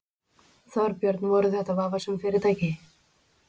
Þorbjörn: Voru þetta vafasöm fyrirtæki?